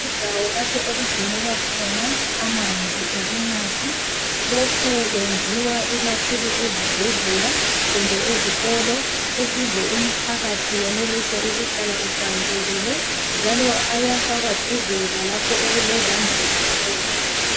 Indawo lapho okugcinelwa khona amanzi okunatha. Lokhu kwenziwa kakhulu ezibhedlela kumbe ezikolo ukuze umphakathi wenelise ukuhlala uhlanzekile njalo ayafakwa duze lalapho okulezambuzi khona.